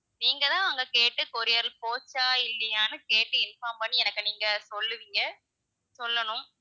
நீங்க தான் அங்க கேட்டு courier போச்சா இல்லையான்னு கேட்டு inform பண்ணி எனக்கு நீங்க சொல்லுவீங்க சொல்லணும்.